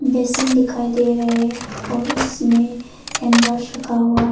Basin दिखाई दे रहे हैं और उसमें हैंड वाश रखा हुआ है।